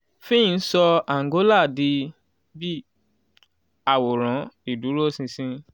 fitch sọ angola di bi àwòran ìdúróṣinṣin